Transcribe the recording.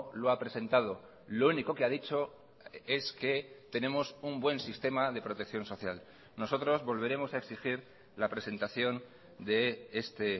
lo ha presentado lo único que ha dicho es que tenemos un buen sistema de protección social nosotros volveremos a exigir la presentación de este